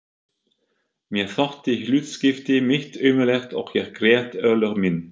Mér þótti hlutskipti mitt ömurlegt og ég grét örlög mín.